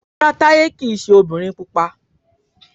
Rárá Táyé kìí ṣe ọmọbìnrin pupa